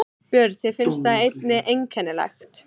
Björn: Þér finnst það einnig einkennilegt?